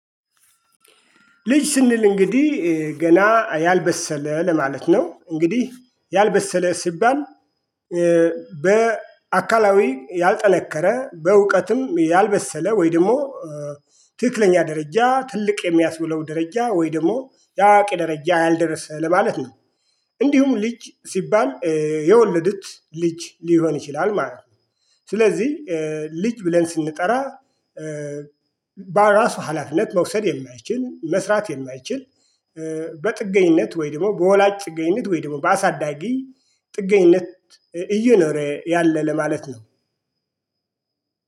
ልጅ ስንል እንግዲህ ገና ያልበሰለ ለማለት ነው እንግዲህ ያልበሰለ ሲባል በአካላዊ ያልጠነከረ በእውቀትም ያልበሰለ ወይ ደግሞ ትክክለኛ ደረጃ ትልቅ የሚያስብለው ደረጃ ወይ ደግሞ የአዋቂ ደረጃ ያልደረሰ ለማለት ነው። እንዲሁም ልጅ ሲባል የወለዱት ልጅ ሊሆን ይችላል ማለት ነው። ስለዚህ ልጅ ብለን ስንጠራ በራሱ ሀላፊነት መውሰድ የማይችል መስራት የማይችል። በጥገኝነት ወይ ደሞ በወላጅ ጥገኝነት ወይ ደሞ በአሳዳጊ ጥገኝነት እየኖረ ያለ ለማለት ነው።